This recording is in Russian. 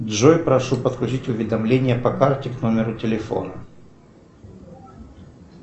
джой прошу подключить уведомление по карте к номеру телефона